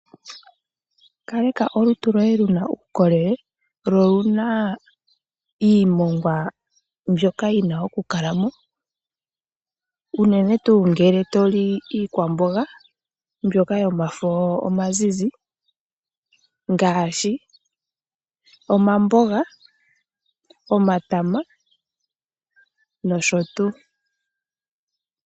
Kaleka olutu loye luna uukolele lo oluna iimongwa mbyoka yi na okukala mo, unene tuu ngele to li iikwamboga mbyoka yomafo omazizi. Ngaashi omamboga, omatama nosho tuu.